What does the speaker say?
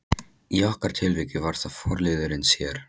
Í okkar tilviki var það forliðurinn sér.